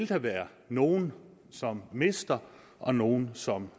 der være nogle som mister og nogle som